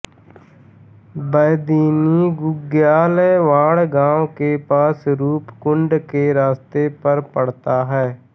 बेदिनी बुग्याल वाँण गांव के पास रूपकुंड के रास्ते पर पड़ता है